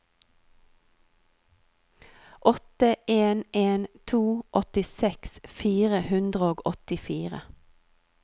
åtte en en to åttiseks fire hundre og åttifire